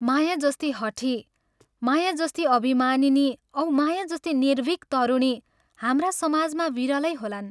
माया जस्ती हठी, माया जस्ती अभिमानिनी औ माया जस्ती निर्भीक तरुणी हाम्रा समाजमा विरलै होलान्।